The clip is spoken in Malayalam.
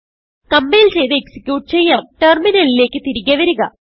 കംപൈൽ ചെയ്ത് എക്സിക്യൂട്ട് ചെയ്യാംterminalലേക്ക് തിരികെ വരുക